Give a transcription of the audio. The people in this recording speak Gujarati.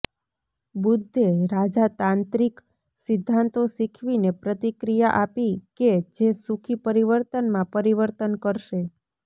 બુદ્ધે રાજા તાંત્રિક સિદ્ધાંતો શીખવીને પ્રતિક્રિયા આપી કે જે સુખી પરિવર્તનમાં પરિવર્તન કરશે